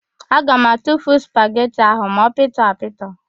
Aga m atufu spageti ahụ ma ọ pịtọ apịtọ.